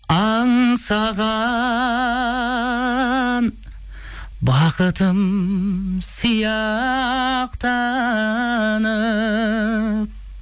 аңсаған бақытым сияқтанып